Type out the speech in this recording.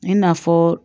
I n'a fɔ